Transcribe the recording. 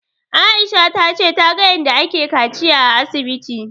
Aisha ta ce ta ga yanda ake kaciya a asibiti